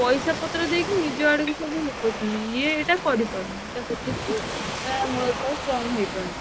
ପଇସାପତ୍ର ଦେଇକି ନିଜ ଅଡିକି ସବୁ ଲୋକ ନଉଛନ୍ତି ଏ ଏଇଟା କରିପାରୁନି ତ ସେଥିପାଇଁ ତା ମୂଳଦୁଆ strong ହେଇପାରୁନି।